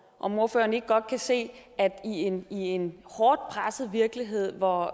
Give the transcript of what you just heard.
om ordføreren ikke godt kan se at i en i en hårdt presset virkelighed hvor